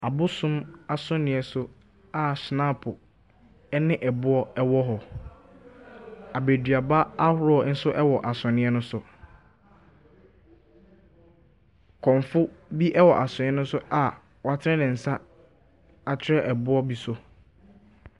Abosom asɔneɛ so a hyenapo ɛne ɛboɔ ɛwɔ hɔ. Abɛduaba ahoroɔ nso ɛwɔ asɔneɛ no so. Kɔmfo bi ɛwɔ asɔneɛ no so a w'atene ne nsa akyerɛ ɛboɔ bi so.